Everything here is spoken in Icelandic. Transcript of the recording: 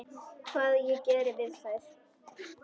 Hvað ég geri við þær?